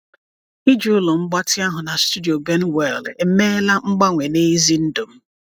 Ịji ụlọ mgbatị ahụ na studio Benwell emeela mgbanwe n’ezi ndụ m.